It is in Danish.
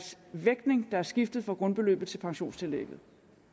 vægtningen er skiftet fra grundbeløbet til pensionstillægget